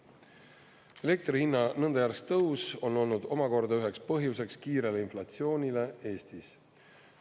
Elektri hinna nõnda järsk tõus on olnud omakorda üheks põhjuseks kiirele inflatsioonile Eestis.